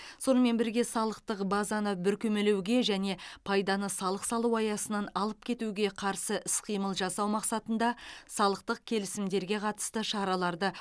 сонымен бірге салықтық базаны бүркемелеуге және пайданы салық салу аясынан алып кетуге қарсы іс қимыл жасау мақсатында салықтық келісімдерге қатысты шараларды